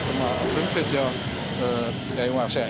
frumflytja eigum við að segja